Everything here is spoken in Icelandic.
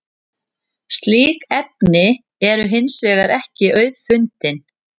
slík efni eru hins vegar ekki auðfundin